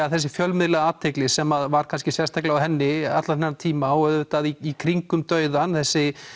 að þessi fjölmiðlaathygli sem var kannski sérstaklega á henni allan þennan tíma og auðvitað í kringum dauðann þessi